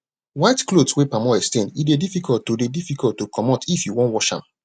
white clothes wey palm oil stain e dey difficult to dey difficult to comot if you wan wash am